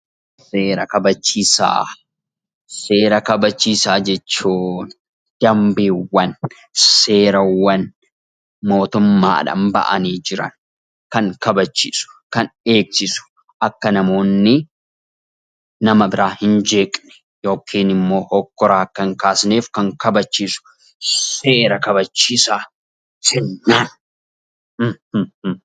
Seera kabachiisaa jechuun dambiiwwan, seerawwan, mootummaadhaan bahanii jiran kan kabachiisu kan eegsisu akka namoonni nama biraa hin jeeqne yookiin immoo hoggora akka hin kaafneef kan kabachiisu seera kabachiisaa jennaan.